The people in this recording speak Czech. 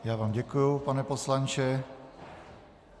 Já vám děkuji, pane poslanče.